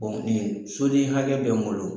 nin soden hakɛ bɛ n bolo.